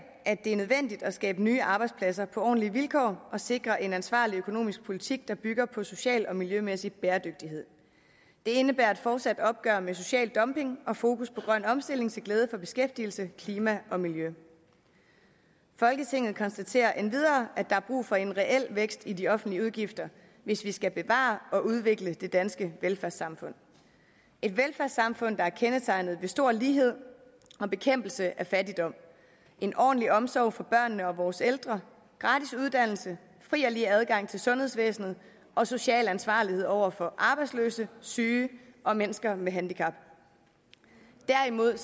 at det er nødvendigt at skabe nye arbejdspladser på ordentlige vilkår og sikre en ansvarlig økonomisk politik der bygger på social og miljømæssig bæredygtighed det indebærer et fortsat opgør med social dumping og fokus på grøn omstilling til glæde for beskæftigelse klima og miljø folketinget konstaterer endvidere at der er brug for en reel vækst i de offentlige udgifter hvis vi skal bevare og udvikle det danske velfærdssamfund et velfærdssamfund der er kendetegnet ved stor lighed og bekæmpelse af fattigdom en ordentlig omsorg for børnene og vores ældre gratis uddannelse fri og lige adgang til sundhedsvæsenet og social ansvarlighed over for arbejdsløse syge og mennesker med handicap derimod